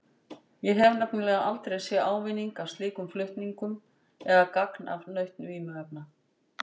Ég hef nefnilega aldrei séð ávinning af slíkum flutningum eða gagn af nautn vímuefna.